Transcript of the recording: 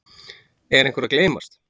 Er einhver að gleymast?